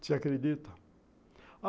Você acredita?